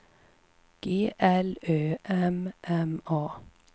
G L Ö M M A